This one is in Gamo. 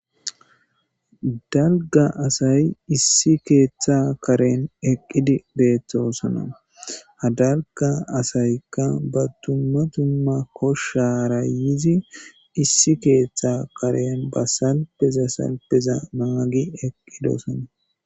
Dalga asay issi ketha karen eqidi betosona ha dalga asayka ba duma duma koshara yizi issi ketha Karen basalpeza salpeza nagi eqidosona.